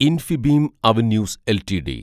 Infibeam Avenues LTD